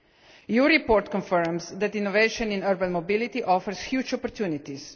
The report confirms that innovation in urban mobility offers huge opportunities.